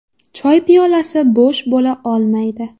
Choy piyolasi bo‘sh bo‘la olmaydi.